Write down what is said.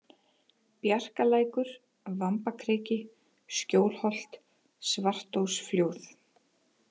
Bjarkalækur, Vambakriki, Skjólholt, Svartósflóð